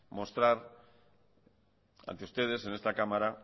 mostrar ante ustedes en esta cámara